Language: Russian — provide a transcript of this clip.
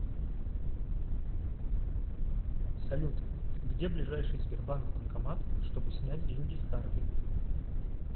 салют где ближайший сбербанк банкомат чтобы снять деньги с карты